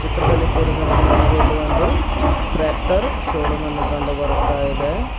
ಚಿತ್ರದಲ್ಲಿ ತೋರಿಸಿದಂತೆ ನಮಗೆ ಇಲ್ಲಿ ಒಂದು ಟ್ರ್ಯಾಕ್ಟರ್ ಶೋರೂಮ್ ಅನ್ನು ಕಂಡು ಬರುತ್ತಾ ಇದೆ.